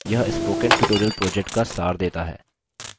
यह spoken tutorial project का सार देता है